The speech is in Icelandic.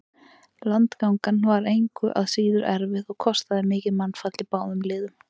Landgangan var engu að síður erfið og kostaði mikið mannfall í báðum liðum.